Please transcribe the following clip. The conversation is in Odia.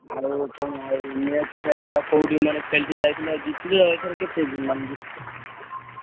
ଆଉ କଣ ଆଉ match ଫ୍ଯାଚ୍ ଆଉ କୋଉଠି ମାନେ ଖେଳିତେ ଯାଇଥିଲ ଜିତିଲ ଏଇଥର କେତେ ମାନେ ଜିତିଲ?